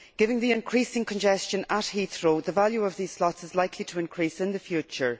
Given the increasing congestion at Heathrow, the value of these slots is likely to increase in the future.